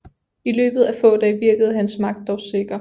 I løbet af få dage virkede hans magt dog sikker